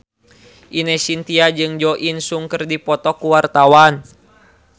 Ine Shintya jeung Jo In Sung keur dipoto ku wartawan